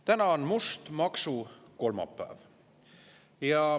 Täna on must maksukolmapäev.